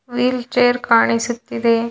Wheel chair ಕಾಣಿಸುತ್ತಿದೆ.